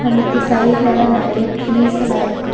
அதுக்கு சைடுலலா நெறையா ட்ரீஸ் எல்லா இருக்கு.